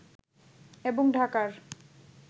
এবং ঢাকার